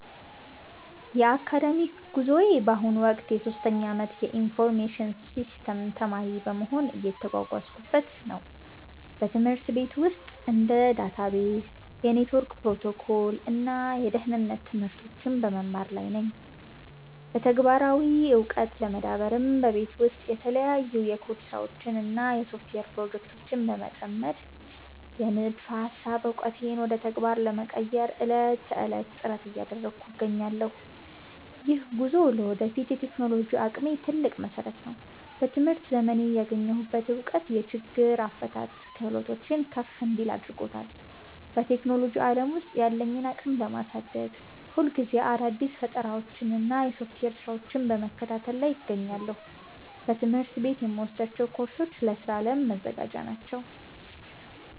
የአካዳሚክ ጉዞዬ በአሁኑ ወቅት የሶስተኛ ዓመት የኢንፎርሜሽን ሲስተምስ ተማሪ በመሆን እየተጓዝኩበት ነው። በትምህርት ቤት ውስጥ እንደ ዳታቤዝ፣ የኔትወርክ ፕሮቶኮል እና የደህንነት ትምህርቶችን በመማር ላይ ነኝ። በተግባራዊ ዕውቀት ለመዳበርም በቤት ውስጥ በተለያዩ የኮድ ስራዎች እና በሶፍትዌር ፕሮጀክቶች በመጠመድ፣ የንድፈ ሃሳብ ዕውቀቴን ወደ ተግባር ለመቀየር ዕለት ተዕለት ጥረት እያደረግኩ እገኛለሁ። ይህ ጉዞ ለወደፊት የቴክኖሎጂ አቅሜ ትልቅ መሰረት ነው። በትምህርት ዘመኔ ያገኘሁት እውቀት የችግር አፈታት ክህሎቴን ከፍ እንዲል አድርጎታል። በቴክኖሎጂ ዓለም ውስጥ ያለኝን አቅም ለማሳደግ፣ ሁልጊዜ አዳዲስ ፈጠራዎችንና የሶፍትዌር ስራዎችን በመከታተል ላይ እገኛለሁ። በትምህርት ቤት የምወስዳቸው ኮርሶች ለስራ ዓለም መዘጋጃ ናቸው